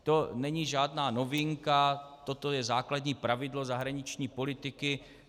To není žádná novinka, toto je základní pravidlo zahraniční politiky.